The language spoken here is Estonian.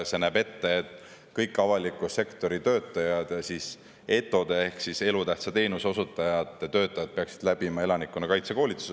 See näeb ette, et kõik avaliku sektori töötajad, ETO-de ehk elutähtsate teenuste osutajad ehk siis vastavad töötajad peaksid läbima elanikkonnakaitse koolituse.